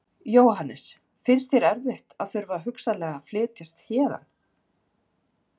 Jóhannes: Finnst þér erfitt að þurfa hugsanlega að flytjast héðan?